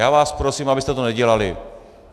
Já vás prosím, abyste to nedělali.